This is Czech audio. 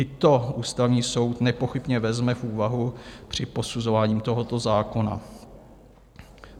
I to Ústavní soud nepochybně vezme v úvahu při posuzování tohoto zákona.